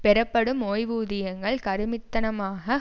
பெறப்படும் ஓய்வுதியங்கள் கருமித்தனமாக